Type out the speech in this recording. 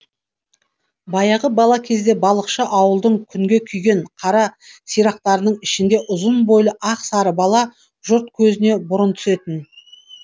баяғы бала кезде балықшы ауылдың күнге күйген қара сирақтарының ішінде ұзын бойлы ақ сары бала жұрт көзіне бұрын түсетін